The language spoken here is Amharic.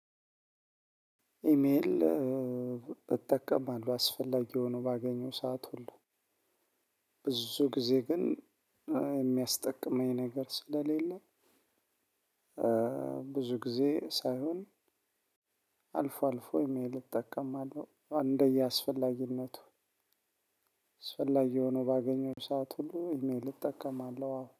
ኢሜል እጠቀማለሁ። አስፈላጊ ሆኖ ባገኘው ሰዓት ሁሉ። ብዙ ጊዜ ግን የሚያስጠቅመኝ ነገር ስለሌለ ብዙ ጊዜ ሳይሆን አልፎ አልፎ የሚል እጠቀማለሁ እንደየአስፈላጊነቱ። አስፈላጊ ሆኖ ባገኘው ሰዓት ሁሉ ኢሜል እጠቀማለሁ አዎ።